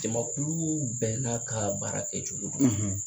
Jamakulu bɛɛ n'a ka baara kɛcogo don